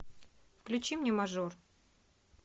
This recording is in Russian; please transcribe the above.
включи мне мажор